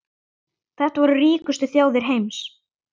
Þetta voru ríkustu þjóðir heims.